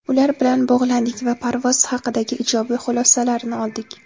Ular bilan bog‘landik va parvoz haqidagi ijobiy xulosalarini oldik.